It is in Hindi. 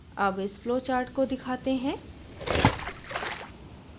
अब इस flowchart को दिखाते हैं